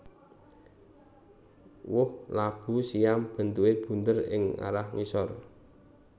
Woh labu siam bentuké bunder ing arah ngisor